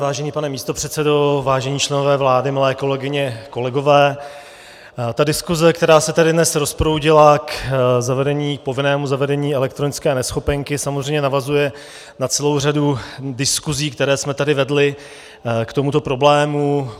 Vážený pane místopředsedo, vážení členové vlády, milé kolegyně, kolegové, ta diskuze, která se tady dnes rozproudila k povinnému zavedení elektronické neschopenky, samozřejmě navazuje na celou řadu diskuzí, které jsme tady vedli k tomuto problému.